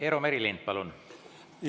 Eero Merilind, palun!